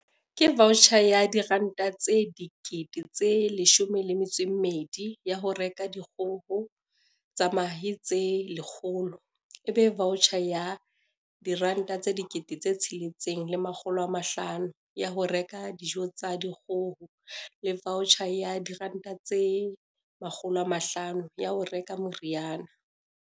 "Ke vaotjhara ya R12 000 ya ho reka dikgoho tsa mahe tse 100, ebe vaotjhara ya R6 500 ya ho reka dijo tsa dikgoho le vaotjhara ya R500 ya ho reka meriana".